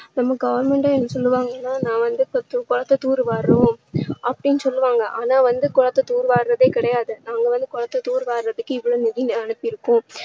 நம்ம goverment ஏ என்ன சொல்லுவாங்க நான் வந்து குளத்தை தூர் வாருறோம் அப்படின்னு சொல்லுவாங்க ஆனா வந்து குளத்தை தூர் வாருறதே கிடையாது. அவங்க வந்து குளத்தை தூர் வாருறதுக்கு இவ்ளோ நிதி அனுப்பி இருக்கோம்